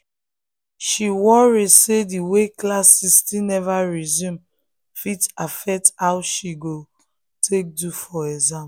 she worry say the way classes still never resume fit affect how she go take do for exam